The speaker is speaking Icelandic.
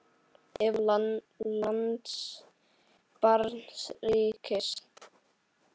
Ef. lands barns ríkis